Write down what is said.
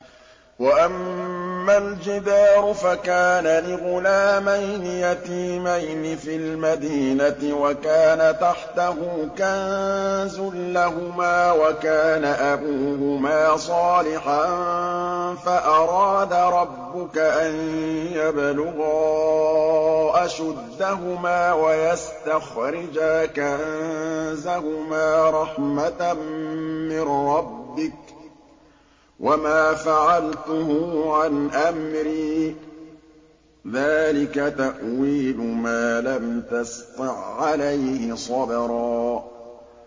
وَأَمَّا الْجِدَارُ فَكَانَ لِغُلَامَيْنِ يَتِيمَيْنِ فِي الْمَدِينَةِ وَكَانَ تَحْتَهُ كَنزٌ لَّهُمَا وَكَانَ أَبُوهُمَا صَالِحًا فَأَرَادَ رَبُّكَ أَن يَبْلُغَا أَشُدَّهُمَا وَيَسْتَخْرِجَا كَنزَهُمَا رَحْمَةً مِّن رَّبِّكَ ۚ وَمَا فَعَلْتُهُ عَنْ أَمْرِي ۚ ذَٰلِكَ تَأْوِيلُ مَا لَمْ تَسْطِع عَّلَيْهِ صَبْرًا